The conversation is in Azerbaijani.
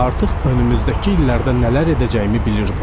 Artıq önümüzdəki illərdə nələr edəcəyimi bilirdim.